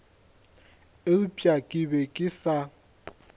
eupša ke be ke sa